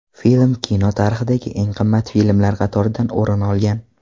Film kino tarixidagi eng qimmat filmlar qatoridan o‘rin olgan.